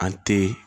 An te